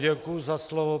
Děkuji za slovo.